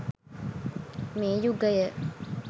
මේ යුගය